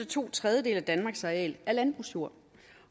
to tredjedele at danmarks areal er landbrugsjord